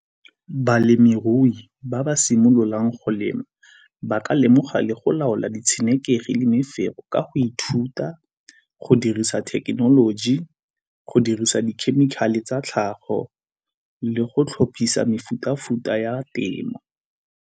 Balemirui ba ba simololang go lema ba ka lemoga le go laola di tshenekegi le mefero ka go ithuta go dirisa thekenoloji, go dirisa dikhemikhale tsa tlhago le go tlhophisa mefuta-futa ya temo.